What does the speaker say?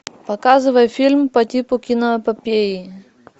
показывай фильм по типу киноэпопеи